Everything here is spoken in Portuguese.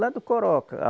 Lá do Coroca.